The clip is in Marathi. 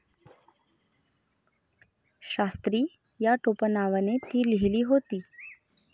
शास्त्री या टोपण नावाने ती लिहिली होती.